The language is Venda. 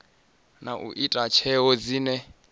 na u ita tsheo dzine